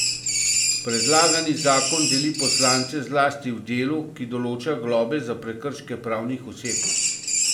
Predlagani zakon deli poslance zlasti v delu, ki določa globe za prekrške pravnih oseb.